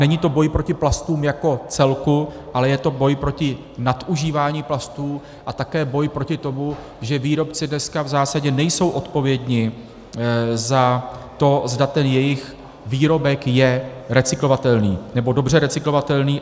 Není to boj proti plastům jako celku, ale je to boj proti nadužívání plastů a také boj proti tomu, že výrobci dneska v zásadě nejsou odpovědni za to, zda ten jejich výrobek je recyklovatelný, nebo dobře recyklovatelný.